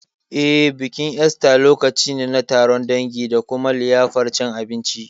Eh, bikin Esta lokaci ne na taron dangi da kuma liyafar cin abinci.